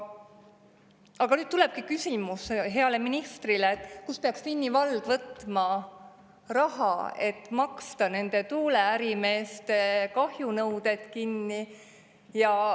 Aga nüüd tulebki küsimus heale ministrile, et kust peaks Vinni vald võtma raha, et maksta nende tuuleärimeeste kahjunõuded kinni.